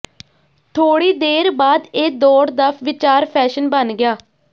ਥੋੜ੍ਹੀ ਦੇਰ ਬਾਅਦ ਇਹ ਦੌੜ ਦਾ ਵਿਚਾਰ ਫੈਸ਼ਨ ਬਣ ਗਿਆ